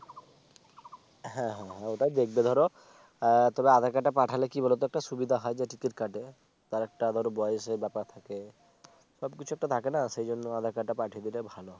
হ্যাঁ হ্যাঁ ওটাই দেখবে ধর তবে Aadhaar Card টা পাঠালে কি বলতো একটা সুবিধা হয় যে Ticket কাটে তার একটা ধরো বয়সের ব্যাপার থাকে সবকিছু একটা থাকে না সেই জন্য Aadhaar Card টা পাঠিয়ে দিলে ভালো হয়।